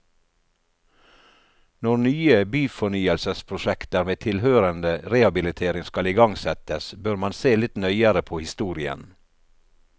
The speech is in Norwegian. Når nye byfornyelsesprosjekter med tilhørende rehabilitering skal igangsettes, bør man se litt nøyere på historien.